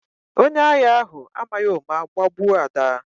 Onye agha ahụ amaghị ụma gbagbuo Ada